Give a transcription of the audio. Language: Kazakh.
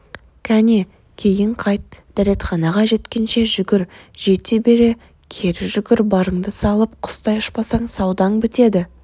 кәне кейін қайт дәретханаға жеткенше жүгір жете бере кері жүгір барыңды салып құстай ұшпасаң саудаң бітеді